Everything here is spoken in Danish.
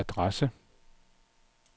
adresse